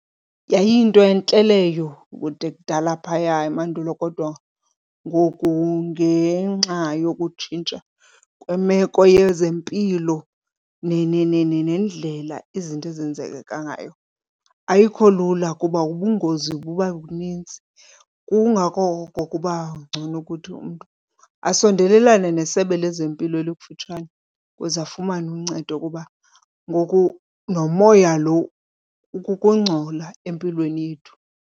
Yayiyinto entle leyo kude kudala phaya emandulo, kodwa ngoku ngenxa yokutshintsha kwemeko yezempilo nendlela izinto ezenzeka ngayo ayikho lula kuba ubungozi buba buninzi. Kungako kokuba ngcono ukuthi umntu asondelelane nesebe lezempilo elikufutshane ukuze afumane uncedo kuba ngoku nomoya lo ukukungcola empilweni yethu.